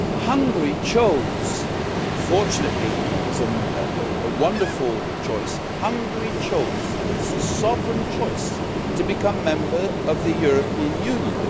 Hungary chose, fortunately and it was a wonderful choice Hungary chose it is a sovereign choice to become a member of the European Union.